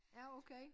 Ja okay